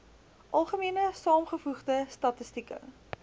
algemene saamgevoegde statistieke